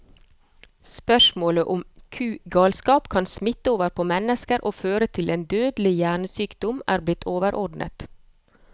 Spørsmålet om kugalskap kan smitte over på mennesker og føre til en dødelig hjernesykdom, er blitt underordnet.